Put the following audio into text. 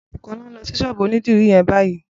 Bukola n lọ si ṣọ́ọ̀bù ónìdìrí yèn bàyí